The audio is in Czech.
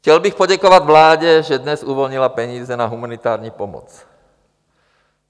Chtěl bych poděkovat vládě, že dnes uvolnila peníze na humanitární pomoc.